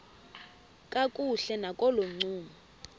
kakuhle nakolo ncumo